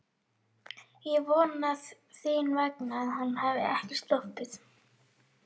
Ég vona þín vegna að hann hafi ekki sloppið